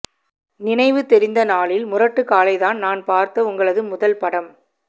நினைவு தெரிந்த நாளில் முரட்டுக்காளைதான் நான் பார்த்த உங்களது முதல் படம்